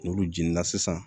N'olu jeni na sisan